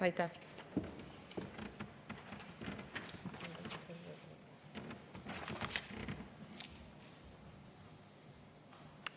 Aitäh!